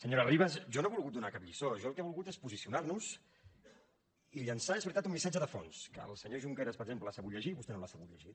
senyora ribas jo no he volgut donar cap lliçó jo el que he volgut és posicionar nos i llançar és veritat un missatge de fons que el senyor junqueras per exemple ha sabut llegir i vostè no l’ha sabut llegir